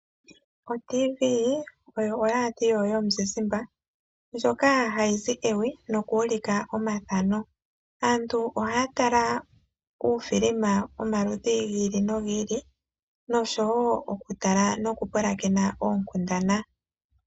OTVii oyo oradio yomuzizimba ndyoka hayi zi ewi nokuulika omathano. Aantu ohaa tala uufilima womaludhi gi ili nogi ili nosho wo oku tala noku pulakena oonkundana.